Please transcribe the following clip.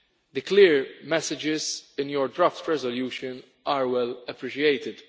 The clear messages in your draft resolution are well appreciated.